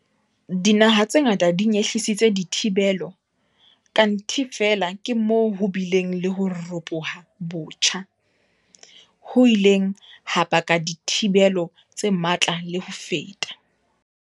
Dinaha tse ngata di nyehlisitse dithibelo, kanthe ke feela moo ho bileng le ho ropoha botjha, ho ileng ha baka dithibelo tse matla le ho feta.